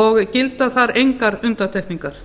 og gilda þar engar undantekningar